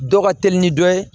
Dɔ ka teli ni dɔ ye